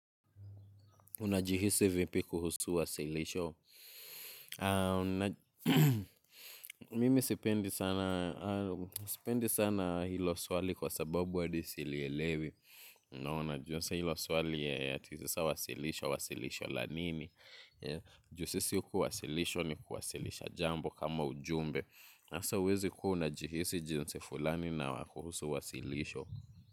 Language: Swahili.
Unajihisi vipi kuhusu wasilisho. Mimi sipendi sana ilo swali kwa sababu adi silielewi. Unajua sa ilo swali ya tisisa wasilisho, wasilisho lanini. Ju sisi kuwasilishwa ni kuwasilisha jambo kama ujumbe. Nasa uwezi kua unajihisi jinsi fulani na kuhusu wasilisho.